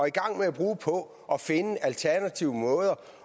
i gang med at bruge på at finde alternative måder